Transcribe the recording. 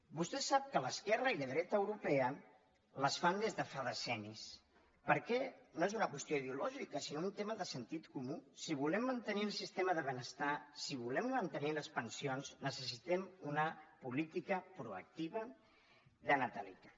vostè sap que l’esquerra i la dreta europea les fan des de fa decennis perquè no és una qüestió ideològica sinó un tema de sentit comú si volem mantenir el sistema de benestar si volem mantenir les pensions necessitem una política proactiva de natalitat